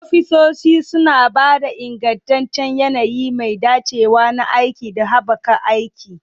Ofisoshi suna ba da ingantaccen yanayi mai dacewa na aiki da haɓaka aiki.